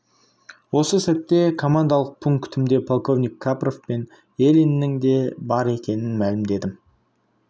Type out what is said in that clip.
осы сәтте командалық пунктімде полковник капров пен елиннің де бар екенін мәлімдедім